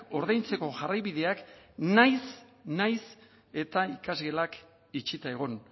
ordaintzeko jarraibideak nahiz eta ikasgelak itxita egon